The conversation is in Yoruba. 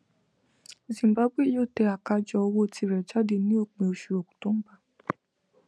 zimbabwe yóò tẹ àkájọ owó tirẹ jáde ní òpin oṣù october